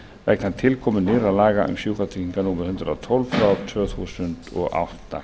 vegna tilkomu nýrra laga um sjúkratryggingar númer hundrað og tólf tvö þúsund og átta